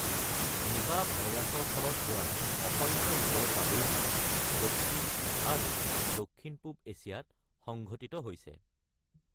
নিপা ভাইৰাছৰ ফলত হোৱা অসংখ্য ৰোগৰ প্ৰাদুৰ্ভাৱ দক্ষিণ আৰু দক্ষিণ-পূব এছিয়াত সংঘটিত হৈছে।